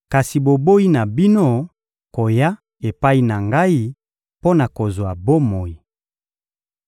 kasi boboyi na bino koya epai na Ngai mpo na kozwa bomoi.